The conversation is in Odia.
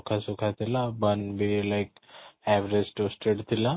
ରୁଖା ଶୁଖା ଥିଲା one be like average tested ଥିଲା